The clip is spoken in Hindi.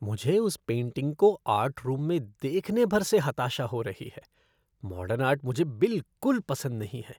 मुझे उस पेंटिंग को आर्ट रूम में देखने भर से हताशा हो रही है, मॉडर्न आर्ट मुझे बिलकुल पसंद नहीं है।